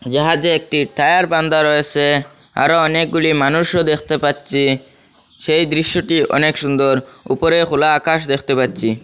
জাহাজে একটি টায়ার বান্দা রয়েছে আরো অনেকগুলি মানুষও দেখতে পাচ্ছি সেই দৃশ্যটি অনেক সুন্দর উপরে খোলা আকাশ দেখতে পাচ্ছি।